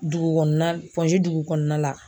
Dugu kɔnɔna dugu kɔnɔna la